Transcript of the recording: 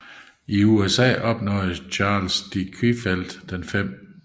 I USA opnåede Charles de Quillfeldt den 5